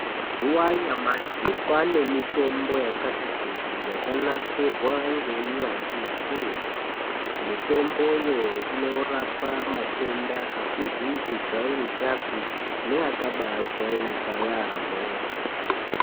Mazuva anyamashi kwaane mitombo yakati kuti yakanasirwa ngowunyanzvi hukurutu .Mitombo iyi inorapa matenda asizi kujairikapi neakabaajairika yaamho.